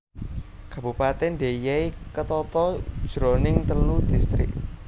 Kabupatèn Deiyai ketata jroning telu distrik